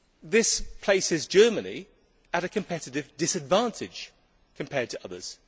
This places Germany at a competitive disadvantage compared to others.